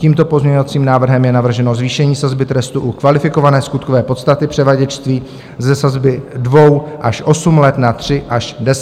Tímto pozměňovacím návrhem je navrženo zvýšení sazby trestu u kvalifikované skutkové podstaty převaděčství ze sazby 2 až 8 let na 3 až 10 let.